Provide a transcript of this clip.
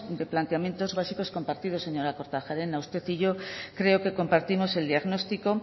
de planteamientos básicos compartidos señora kortajarena usted y yo creo que compartimos el diagnóstico